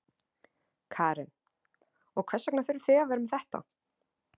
Karen: Og hvers vegna þurfið þið að vera með þetta?